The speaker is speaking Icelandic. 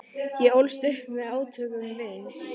Ég ólst upp við átök um vín.